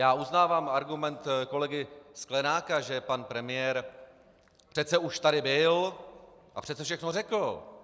Já uznávám argument kolegy Sklenáka, že pan premiér přece už tady byl a přece všechno řekl.